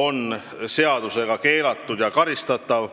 on seadusega keelatud ja karistatav.